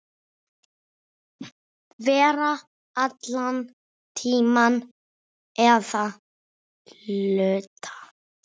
Vera allan tímann eða hluta.